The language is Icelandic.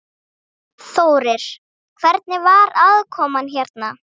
Þórir: Hvernig var aðkoman hérna?